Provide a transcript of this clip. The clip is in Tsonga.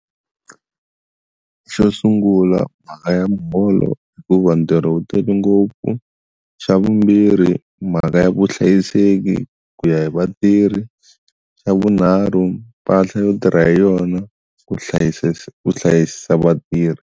Xo sungula mhaka ya muholo hikuva ntirho wu tele ngopfu xa vumbirhi mhaka ya vuhlayiseki ku ya hi vatirhi xa vunharhu mpahla yo tirha hi yona ku hlayisisa ku hlayisa vatirhi.